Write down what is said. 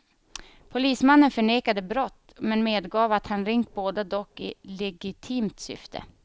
Polismannen förnekade brott men medgav att han ringt båda dock i legitimt syfte.